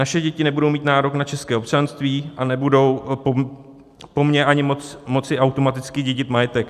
Naše děti nebudou mít nárok na české občanství a nebudou po mně ani moci automaticky dědit majetek.